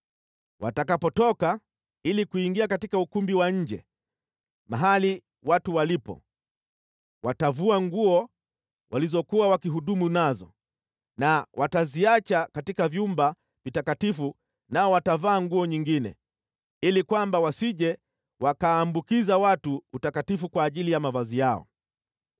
Watakapotoka ili kuingia katika ukumbi wa nje mahali watu walipo, watavua nguo walizokuwa wakihudumu nazo na wataziacha katika vyumba vitakatifu nao watavaa nguo nyingine, ili kwamba wasije wakaambukiza watu utakatifu kwa njia ya mavazi yao.